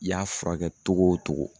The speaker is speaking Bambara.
I y'a furakɛ togo o togo.